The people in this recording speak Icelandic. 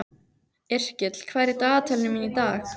Yrkill, hvað er í dagatalinu mínu í dag?